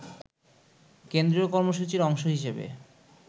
কেন্দ্রীয় কর্মসূচির অংশ হিসেবে